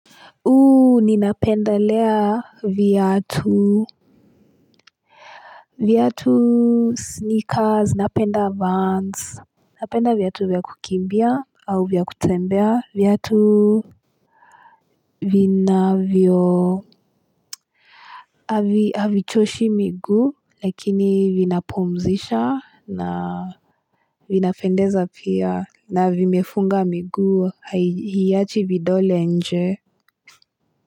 Ninapendelea viatu. Viatu sneakers, napenda vans. Napenda viatu vya kukimbia, au vya kutembea. Viatu vinavyo. Havichoshi miguu, lakini vinapumzisha na vinapendeza pia. Na vimefunga miguu, hiachi vidole nje.